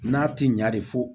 N'a ti ɲa de fɔ